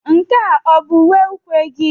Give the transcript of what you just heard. Nke a ọ bụ uwe ukwe gị?